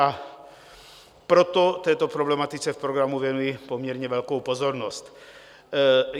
A proto této problematice v programu věnuji poměrně velkou pozornost.